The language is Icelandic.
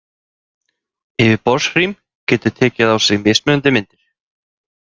Yfirborðshrím getur tekið á sig mismunandi myndir.